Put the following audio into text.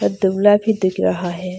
और दुबला भी दिख रहा है।